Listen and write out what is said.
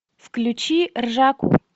включи ржаку